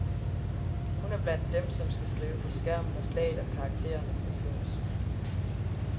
Hun er blandt dem, som skal skrive på skærm, når slaget om karakterne skal slås.